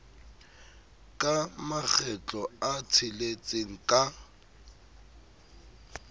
ka makgetlo a tsheletseng ka